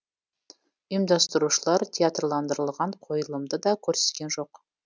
ұйымдастырушылар театрландырылған қойылымды да көрсеткен жоқ